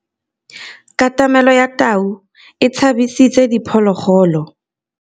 Katamêlô ya tau e tshabisitse diphôlôgôlô.